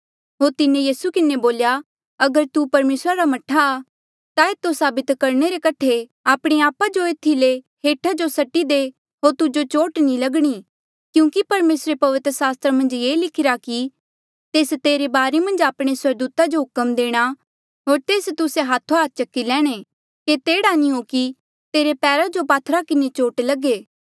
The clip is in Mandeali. होर तिन्हें यीसू किन्हें बोल्या अगर तू परमेसरा रा मह्ठा आ ता एतो साबित करणे रे कठे आपणे आपा जो एथी ले हेठा जो सट्टी दे होर तुजो चोट नी लगणी क्यूंकि परमेसरे पवित्र सास्त्र मन्झ ये लिखिरा कि तेस तेरे बारे मन्झ आपणे स्वर्गदूता जो हुक्म देणा होर तेस तुस्से हाथोहाथ चकी लैणे केते एह्ड़ा नी हो कि तेरे पैरा जो पात्थरा किन्हें चोट लगे